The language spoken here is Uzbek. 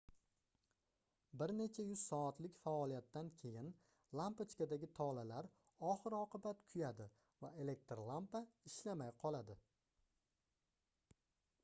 bir nech yuz soatlik faoliyatdan keyin lampochkadagi tolalar oxir-oqibat kuyadi va elektr lampa ishlamay qoladi